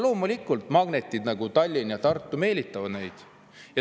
Loomulikult, sellised magnetid nagu Tallinn ja Tartu meelitavad neid.